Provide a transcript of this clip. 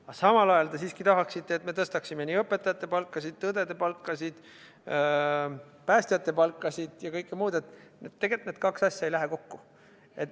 Aga samal ajal te siiski tahaksite, et me tõstaksime nii õpetajate palkasid, õdede palkasid, päästjate palkasid ja kõike muud – tegelikult need kaks asja ei lähe kokku.